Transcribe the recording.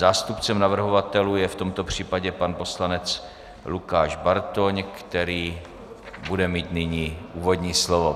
Zástupcem navrhovatelů je v tomto případě pan poslanec Lukáš Bartoň, který bude mít nyní úvodní slovo.